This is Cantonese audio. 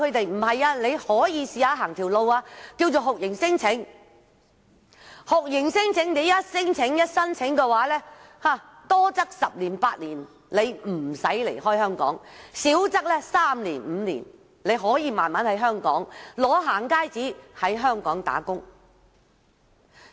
但是，因為有一些高明的律師教唆他們可嘗試酷刑聲請，只要提出聲請，多則十年八年不用離港，少則三年五年，取得"行街紙"後便可在香港工作。